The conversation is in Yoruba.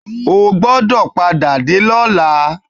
O gbọdọ̀ padà dé lọ́la!